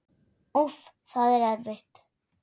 Úff, það er erfitt.